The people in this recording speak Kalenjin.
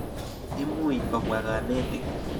Imuch kopwa kanetik.